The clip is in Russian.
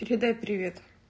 передай привет